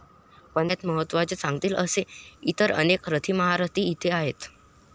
पण त्यात महत्त्वाचं सांगतील असे इतर अनेक रथीमहारथी इथे आहेत.